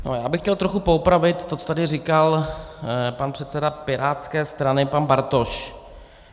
Já bych chtěl trochu poopravit to, co tady říkal pan předseda pirátské strany pan Bartoš.